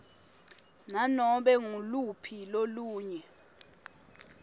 nanobe nguluphi lolunye